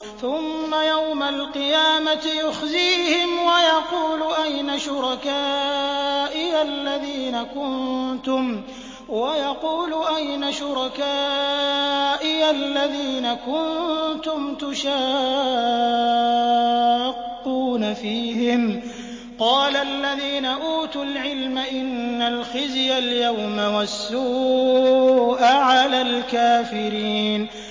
ثُمَّ يَوْمَ الْقِيَامَةِ يُخْزِيهِمْ وَيَقُولُ أَيْنَ شُرَكَائِيَ الَّذِينَ كُنتُمْ تُشَاقُّونَ فِيهِمْ ۚ قَالَ الَّذِينَ أُوتُوا الْعِلْمَ إِنَّ الْخِزْيَ الْيَوْمَ وَالسُّوءَ عَلَى الْكَافِرِينَ